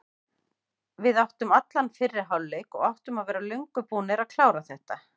Við áttum allan fyrri hálfleik og áttum að vera löngu búnir að klára þetta.